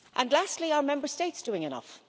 Lastly, are Member States doing enough?